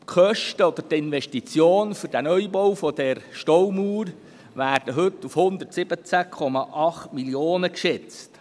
Die Kosten oder die Investition für den Neubau der Staumauer werden heute auf 117,8 Mio. Franken geschätzt.